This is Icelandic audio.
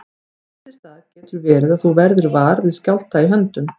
Fyrst í stað getur verið að þú verðir var við skjálfta í höndum.